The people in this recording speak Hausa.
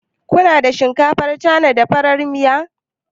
Ku na da shinkafar Cana, da farar miya?